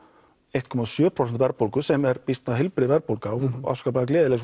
eitt komma sjö prósent verðbólgu sem er býsna heilbrigð verðbólga og afskaplega gleðileg